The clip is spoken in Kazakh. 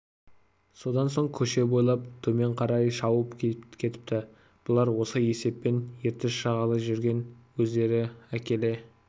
содан соң көше бойлап төмен қарай шауып кетіпті бұлар осы есеппен ертіс жағалай жүрген өздері әкеле